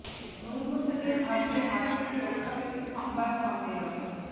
নূর হোসেনের ভাগ্নের হাত থেকে রক্ষা পেতে সংবাদ সম্মেলন